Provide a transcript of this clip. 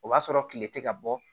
O b'a sɔrɔ kile tɛ ka bɔ